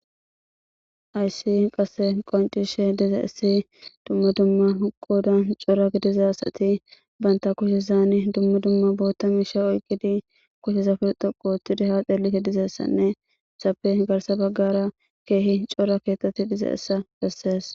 ayssi qase qoncishe diza essi dumma dumma cora gidiza asati banta kushe zaani dumma dumma bootta miisha oyqqidi kusheza fule dhoqu ottida ha xeelike dizessanne sappe garsa baggara keehi cora keettetti diza essa gessees